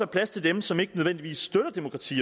plads til dem som ikke nødvendigvis støtter demokrati